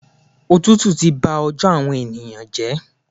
Òtútù ti ba ọjọ́ àwọn èèyàn jẹ́.